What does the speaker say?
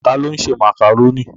Ta ló ń ṣe màkàrónì?